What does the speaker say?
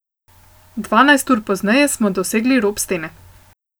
Dvanajst ur pozneje smo dosegli rob stene.